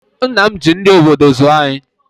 Nna m ji nri obodo zụọ anyị